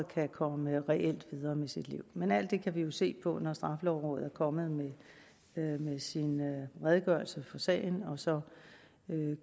kan komme videre med sit liv men alt det kan vi jo se på når straffelovrådet er kommet med sin redegørelse for sagen og så